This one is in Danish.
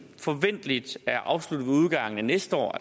forventeligt er afsluttet ved udgangen af næste år